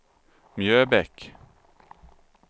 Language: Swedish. Mjöbäck